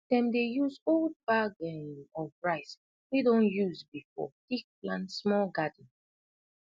dem dey use old bag um of rice wey don use before tak plant small garden